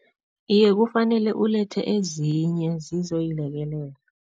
Iye, kufanele ulethe ezinye zizoyilekelela.